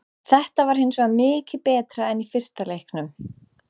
Þetta var hinsvegar mikið betra en í fyrsta leiknum.